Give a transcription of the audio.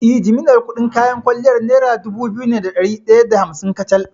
Eh, jimillar kuɗin kayan kwalliyar nera dubu biyu ne da ɗari ɗaya da hamsin kacal.